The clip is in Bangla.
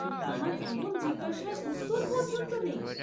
আমার এমন জিজ্ঞাসার উত্তর পর্য্যন্ত নেই।